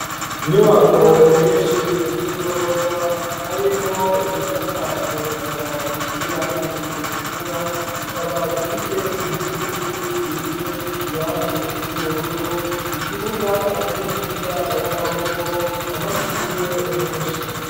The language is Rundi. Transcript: Inyubako nyinshi z'igorofa harimwo iyisakajwe amabati y'irangi ritukura, ikaba ifise inkingi zisize irangi ry'ubururu, ikibuga c'umupira w'amaboko, amashurwe menshi.